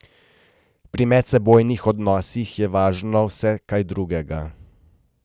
Pri medsebojnih odnosih je važno vse kaj drugega.